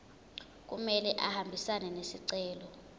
kumele ahambisane nesicelo